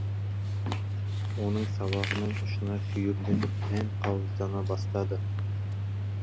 оның сабағының ұшына сүйірленіп дән қауыздана бастады